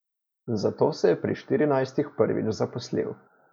Zato se je pri štirinajstih prvič zaposlil.